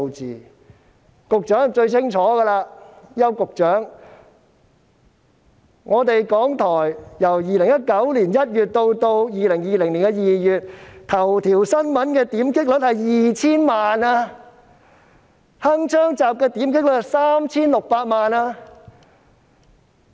邱局長應該最清楚，港台在2019年1月至2020年2月期間，"頭條新聞"的點擊率是 2,000 萬次，"鏗鏘集"的點擊率則是 3,600 萬次。